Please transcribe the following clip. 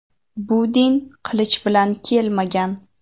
Bu din qilich bilan kelmagan.